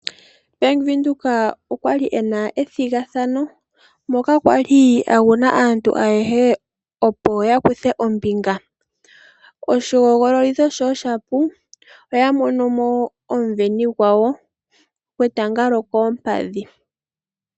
Bank-Windhoek okwali ye na ethigathano, moka kwali a guna aantu ayehe opo ya kuthe ombinga. Oshihogololitho sho shapu oya mono mo omuveni gwawo gwetanga lyokompadhi.